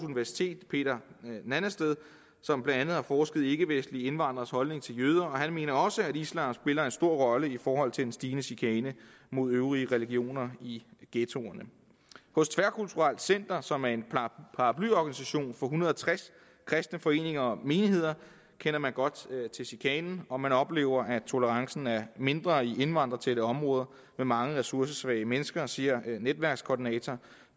universitet peter nannestad som blandt andet har forsket i ikkevestlige indvandreres holdning til jøder og han mener også at islam spiller en stor rolle i forhold til en stigende chikane mod øvrige religioner i ghettoerne hos tværkulturelt center som er en paraplyorganisation for en hundrede og tres kristne foreninger og menigheder kender man godt til chikanen og man oplever at tolerancen er mindre i indvandrertætte områder med mange ressourcesvage mennesker det siger netværkskoordinator